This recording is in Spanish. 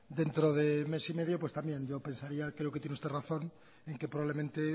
dentro de mes y medio pues también yo pensaría creo que tiene usted razón en que probablemente